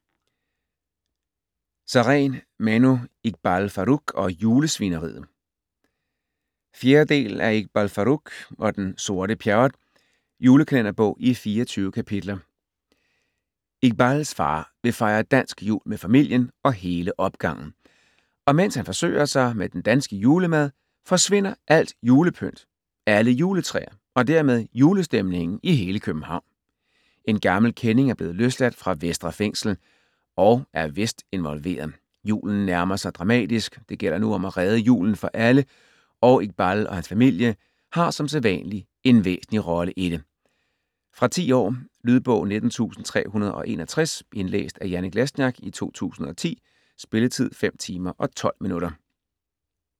Sareen, Manu: Iqbal Farooq og julesvineriet 4. del af Iqbal Farooq og den sorte Pjerrot. Julekalenderbog i 24 kapitler. Iqbals far vil fejre dansk jul med familien og hele opgangen, og mens han forsøger sig med den danske julemad, forsvinder alt julepynt, alle juletræer og dermed julestemningen i hele København. En gammel kending er blevet løsladt fra Vestre Fængsel, og er vist involveret. Julen nærmer sig dramatisk. Det gælder nu om at redde julen for alle, og Iqbal og hans familie har som sædvanlig en væsentlig rolle i det. Fra 10 år. Lydbog 19361 Indlæst af Janek Lesniak, 2010. Spilletid: 5 timer, 12 minutter.